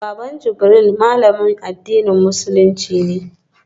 Baba Jibril malamin addinin musulunci ne